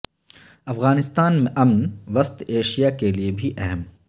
افغانستان میں امن وسط ایشیا کے لیے بھی اہم